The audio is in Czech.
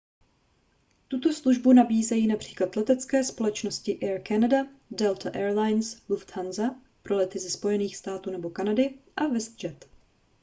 tuto službu nabízejí například letecké společnosti air canada delta air lines lufthansa pro lety ze spojených států nebo kanady a westjet